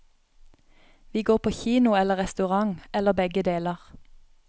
Vi går på kino eller restaurant, eller begge deler.